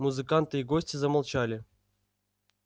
музыканты и гости замолчали